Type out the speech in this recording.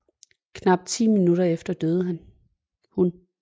Knap ti minutter efter døde hun